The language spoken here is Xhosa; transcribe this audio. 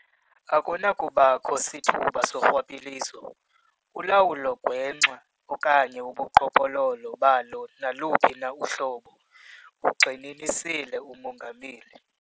"Akunakubakho sithuba sorhwaphilizo, ulawulo gwenxa okanye ubuqhophololo balo naluphi na uhlobo," ugxininisile uMongameli.